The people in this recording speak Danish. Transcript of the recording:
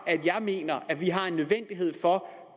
jeg mener at vi har en nødvendighed for